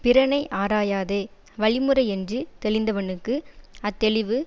பிறனை ஆராயாதே வழிமுறையென்று தெளிந்தவனுக்கு அத்தெளிவு